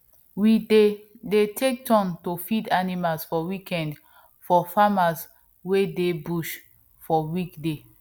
we dey dey take turn to feed animals for weekend for farmers wey dey busy for weekday